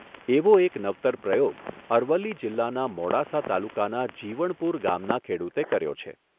એવો એક નવતર પ્રયોગ અરવલ્લી જિલ્લાના મોડાસા તાલુકાના જીવણપુર ગામના ખેડુતે કર્યો છે.